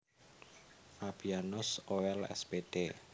Fabianus Oel Spd